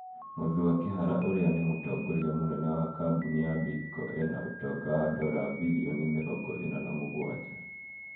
Muthua Kihara ũrĩa nĩ mũtongoria mũnene wa kambuni ya Bidco ena ũtonga wa dora birioni mĩrongo ĩna na mũgũanja